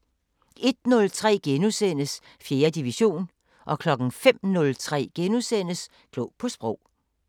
01:03: 4. division * 05:03: Klog på Sprog *